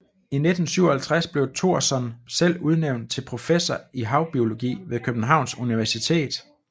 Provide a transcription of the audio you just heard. I 1957 blev Thorson selv udnævnt til professor i havbiologi ved Københavns Universitet